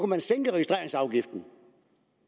man sænke registreringsafgiften